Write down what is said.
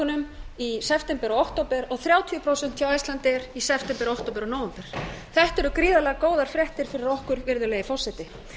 bókunum í september og október og þrjátíu prósent hjá icelandair í september október og nóvember þetta eru gríðarlega góðar fréttir fyrir okkur virðulegi forseti